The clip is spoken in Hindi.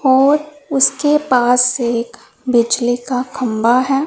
और उसके पास एक बिजली का खंभा है।